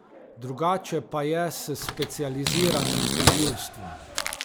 Drugače pa je s specializiranim tožilstvom.